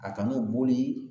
A kan'u boli